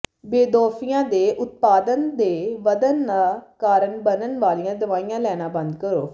ਬੇਦੋਫੀਆਂ ਦੇ ਉਤਪਾਦਨ ਦੇ ਵਧਣ ਦਾ ਕਾਰਨ ਬਣਨ ਵਾਲੀਆਂ ਦਵਾਈਆਂ ਲੈਣਾ ਬੰਦ ਕਰੋ